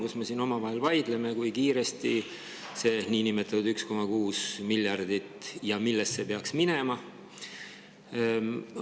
Ent me siin omavahel vaidleme, kui kiiresti ja millesse see nimetatud 1,6 miljardit peaks minema.